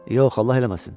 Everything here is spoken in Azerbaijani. Yox, Allah eləməsin.